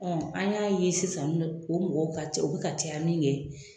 Ɔ an y'a ye sisan o mɔgɔw ka u bɛ ka caya sisan min kɛ